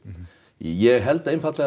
ég held einfaldlega